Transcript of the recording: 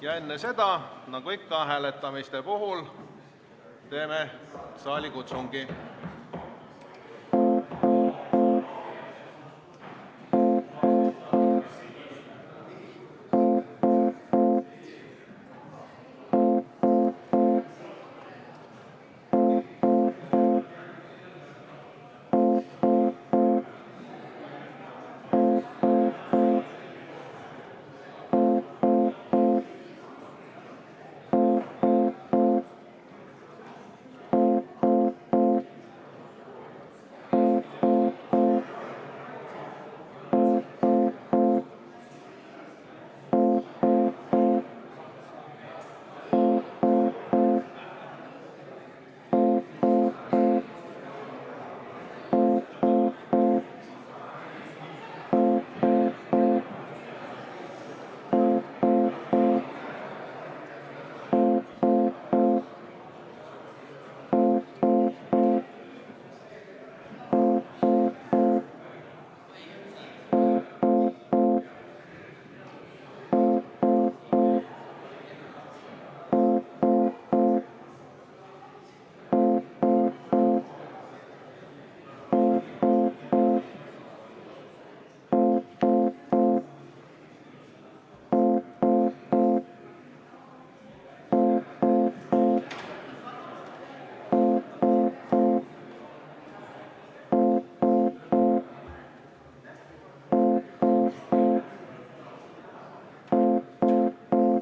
Ja enne seda, nagu hääletamise puhul ikka, teeme saalikutsungi.